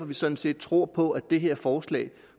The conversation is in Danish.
vi sådan set tror på at det her forslag